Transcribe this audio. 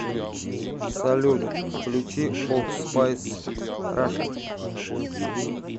салют включи олд спайс раша